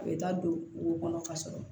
A bɛ taa don o kɔnɔ ka sɔrɔ